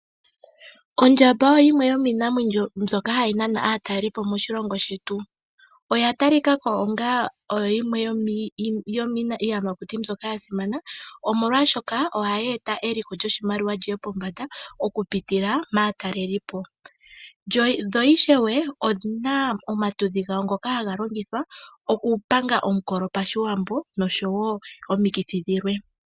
Ondjamba oyo yimwe yomiinamwenyo mbyoka hayi nana aatalelipo moshilongo shetu. Oya ta li kako onga oyo yimwe yomiiyamakuti mbyoka ya simana. Omolwaashoka ohayi eta eliko lyoshimaliwa li ye pombanda, oku pitila maatalelipo. Dho ishewe, odhina omatudhi gawo ngoka haga longithwa okupanga omukolo pashiwambo, noshowo omikithi dhilwe.